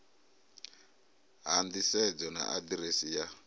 ha nḓisedzo na aḓirese ya